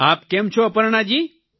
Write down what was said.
આપ કેમ છો અપર્ણાજી